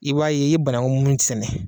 I b'a ye i ye banagun mun sɛnɛ.